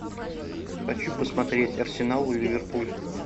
хочу посмотреть арсенал ливерпуль